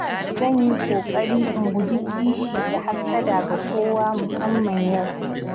Zan yi ƙoƙari in guji kishi da hassada ga kowa musamman yau.